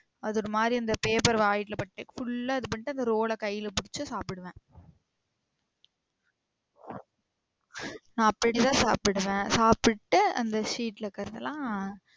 அது ஒரு மாரி இந்த பேப்பர் வாயில பட்டு full ல இது பண்ணிட்டு அந்த roll ல கையில பிடிச்சி சாப்டுவேன். நா அப்டிதான் சாப்டுவேன். சாப்ட்டு அத sheet ல கை எல்லாம்